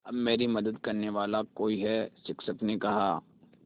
अब मेरी मदद करने वाला कोई है शिक्षक ने कहा